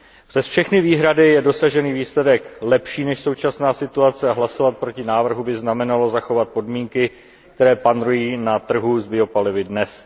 Přes všechny výhrady je dosažený výsledek lepší než současná situace a hlasovat proti návrhu by znamenalo zachovat podmínky, které panují na trhu s biopalivy dnes.